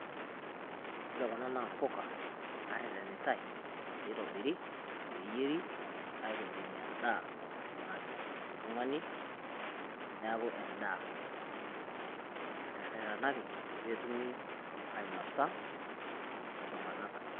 Ore Kuna naa mbuka naaretenitai pee itobiri pee eyieri aitobirunyie endaa nanya oltung'ani. Niaku endaa naterretenaki pee etumi ainosa iltung'anak.